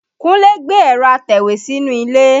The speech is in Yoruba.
Kúnlé gbé ẹ̀rọ́ atẹ̀wé sínú ilé